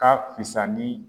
Ka fisani.